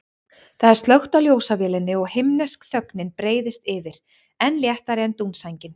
Það er slökkt á ljósavélinni og himnesk þögnin breiðist yfir, enn léttari en dúnsængin.